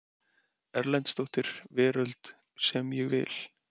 Erlendsdóttir Veröld sem ég vil.